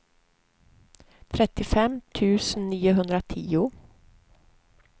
trettiofem tusen niohundratio